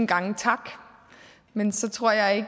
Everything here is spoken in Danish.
gange tak men så tror jeg